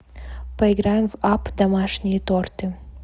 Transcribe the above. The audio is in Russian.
поиграем в апп домашние торты